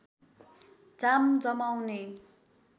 जाम जमाउने